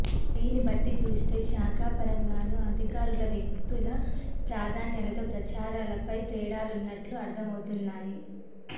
దీన్నిబట్టి చూస్తే శాఖా పరంగానూ అధికారుల వ్యక్తుల ప్రాధాన్యతలు ప్రచారాలపై తేడాలున్నట్టు అర్థమవుతుంది